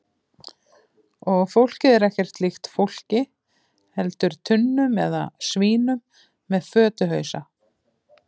Og fólkið er ekkert líkt fólki heldur tunnum eða svínum með fötuhausa.